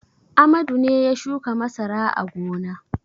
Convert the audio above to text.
Amadu ne ya shuka masara a gona.